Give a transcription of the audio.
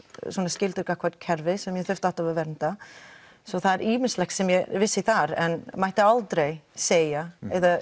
skylda gagnvart kerfi sem ég þurfti að vernda svo það er ýmislegt sem ég vissi þar en mætti aldrei segja